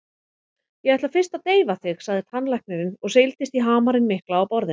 Ég ætla fyrst að deyfa þig, sagði tannlæknirinn og seildist í hamarinn mikla á borðinu.